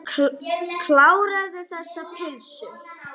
Kláraðu þessa pylsu.